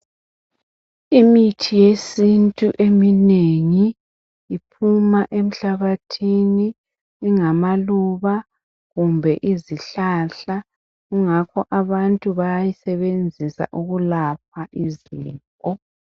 Imithi yesintu eminengi iphuma emhlabathini ingama luba kumbe izihlahla kungakho abantu bayayisebenzisa ukulapha izifo.